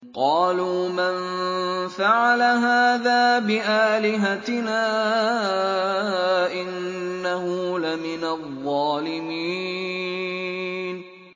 قَالُوا مَن فَعَلَ هَٰذَا بِآلِهَتِنَا إِنَّهُ لَمِنَ الظَّالِمِينَ